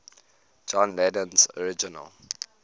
john lennon's original